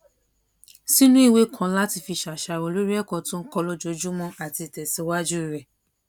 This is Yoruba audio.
sínú ìwé kan láti fi ṣàṣàrò lórí èkó tó ń kó lójoojúmó àti ìtèsíwájú rè